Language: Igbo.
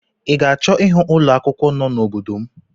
I ga-achọ ịhụ ụlọ akwụkwọ no n'obodo m?